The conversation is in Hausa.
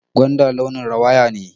Gwanda launin rawaya ne